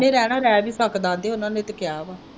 ਜਿਹਨੇਂ ਰਹਿਣਾ ਰਹਿ ਵੀ ਸਕਦਾ ਹੈ ਆਂਦੇ ਉਹਨਾਂ ਤੇ ਕਿਹਾ ਵਾ।